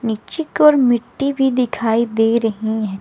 नीचे की ओर मिट्टी भी दिखाई दे रही हैं।